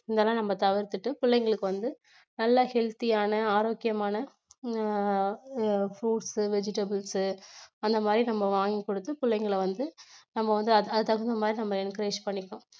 நம்ம தவிர்த்திட்டு பிள்ளைங்களுக்கு வந்து நல்ல healthy ஆன ஆரோக்கியமான அஹ் அஹ் fruits, vegetables அந்த மாதிரி நம்ம வாங்கி கொடுத்து பிள்ளைங்களை வந்து நம்ம வந்து அதுக்கு தகுந்த மாதிரி நம்ம encourage பண்ணிக்கணும்.